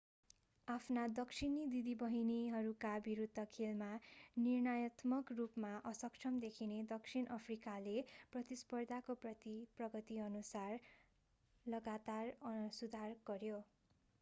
आफ्ना दक्षिणी दिदीबहिनीहरूका विरूद्ध खेलमा निर्णयात्मक रूपमा असक्षम देखिने दक्षिण अफ्रिकाले प्रतिस्पर्धाको प्रगतिअनुसार लगातार सुधार गर्‍यो।